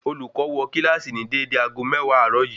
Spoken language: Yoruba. Olùkọ́ wo kílàsì ni dédé aago méwàá àárò yìí